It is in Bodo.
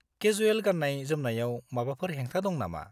केजुएल गाननाय-जोमनायाव माबाफोर हेंथा दं नामा?